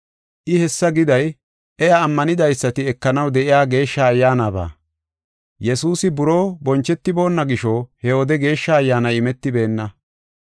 I hessa giday iya ammanidaysati ekanaw de7iya Geeshsha Ayyaanaba. Yesuusi buroo bonchetiboona gisho, he wode Geeshsha Ayyaanay imetibeenna.